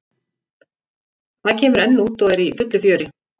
Það kemur enn út og er í fullu fjöri.